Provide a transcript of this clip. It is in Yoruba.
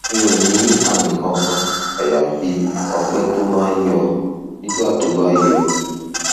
mi ò ní àmì kankan àyàfi ọgbẹ tó máa ń yọ nígbà tó bá yọ